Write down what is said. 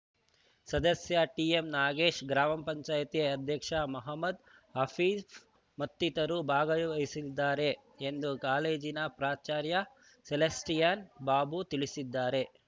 ಸದಸ್ಯ ಟಿಎಂ ನಾಗೇಶ್‌ ಗ್ರಾಮ ಪಂಚಾಯಿತಿ ಅಧ್ಯಕ್ಷ ಮಹಮ್ಮದ್‌ ಹನೀಫ್‌ ಮತ್ತಿತರರು ಭಾಗವಹಿಸಲಿದ್ದಾರೆ ಎಂದು ಕಾಲೇಜಿನ ಪ್ರಾಚಾರ್ಯ ಸೆಲಾಸ್ಟಿಯನ್‌ ಬಾಬು ತಿಳಿಸಿದ್ದಾರೆ